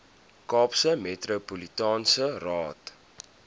kaapse metropolitaanse raad